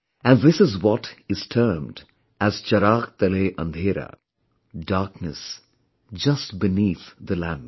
And this is what is termed as "Chirag Tale Andhera" darkness just beneath the lamp